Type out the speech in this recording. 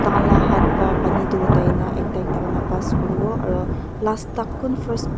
tai khan la haat para pani du uthai na ekta ekta kuri na pass kuri bo aro last tak kun first --